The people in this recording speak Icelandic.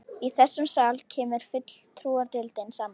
Í þessum sal kemur fulltrúadeildin saman.